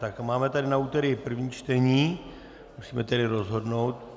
Tak máme tady na úterý první čtení, musíme tedy rozhodnout.